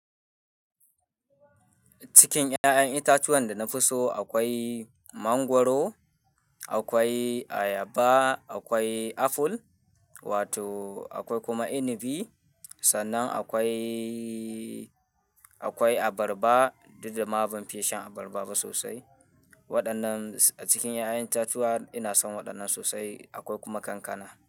Cikin 'ya'yan itatuwan da na fi so akwai mangwaro, akwai ayaba, akwai aful, wato akwai kuma inibi. Sannan akwai, akwai abarba duk da ma ban fiye shan abarba ba sosai. Waɗannan a cikin ƴa'ƴan itatuwa ina son waɗannan sosai. Akwai kuma kankana.